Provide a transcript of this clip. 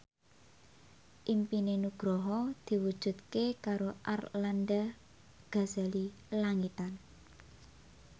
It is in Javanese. impine Nugroho diwujudke karo Arlanda Ghazali Langitan